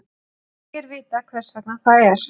Ekki er vitað hvers vegna það er.